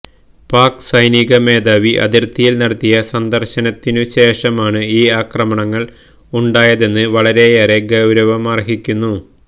pack സൈനിക മേധാവി അതിര്ത്തിയില് നടത്തിയ സന്ദര്ശനത്തിനുശേഷമാണ് ഈ ആക്രമണങ്ങള് ഉണ്ടായതെന്നത് വളരെയേറെ ഗൌരവമർഹിക്കുന്നു